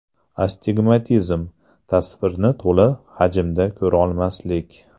Astigmatizm: tasvirni to‘la hajmda ko‘rolmaslik.